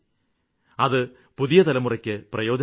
അതു പുതിയ തലമുറയ്ക്ക് പ്രയോജനം ചെയ്യും